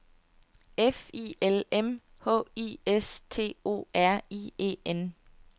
F I L M H I S T O R I E N